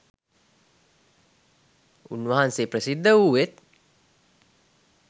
උන්වහන්සේ ප්‍රසිද්ධ වූයෙත්